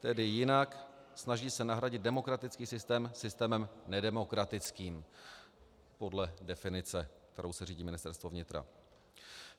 Tedy jinak, snaží se nahradit demokratický systém systémem nedemokratickým podle definice, kterou se řídí Ministerstvo vnitra.